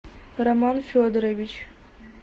роман федорович